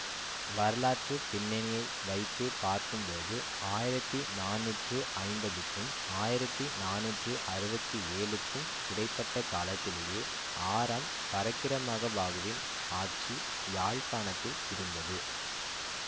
வரலாற்று பிண்ணணியை வைத்து பார்க்கும்போது ஆயிரத்தி நானூற்றி ஐம்பதுக்கும் ஆயிரத்தி நானூற்றி அறுபத்தி ஏழுக்கும் இடை பட்ட காலத்திலேயே ஆறாம் பரக்கிரமபாகுவின் ஆட்சி யாழ்ப்பாணத்தில் இருந்தது